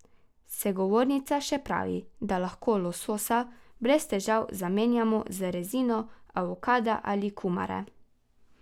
Sogovornica še pravi, da lahko lososa brez težav zamenjamo z rezino avokada ali kumare.